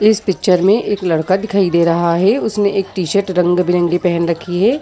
इस पिक्चर में एक लड़का दिखाई दे रहा हैं उसने एक टी-शर्ट रंग-बिरंगी पहन रखी हैं।